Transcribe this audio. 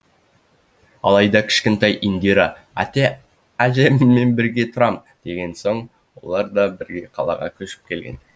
алайда кішкентай индира әжеммен бірге тұрам деген соң олар да бірге қалаға көшіп келген